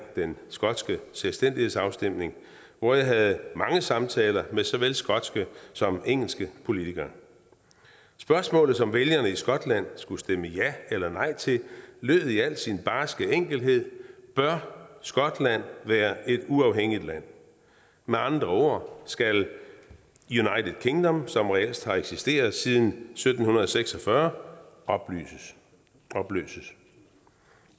den skotske selvstændighedsafstemning hvor jeg havde mange samtaler med såvel skotske som engelske politikere spørgsmålet som vælgerne i skotland skulle stemme ja eller nej til lød i al sin barske enkelhed bør skotland være et uafhængigt land med andre ord skal united kingdom som reelt har eksisteret siden sytten seks og fyrre opløses